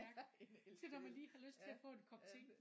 En elkedel ja ja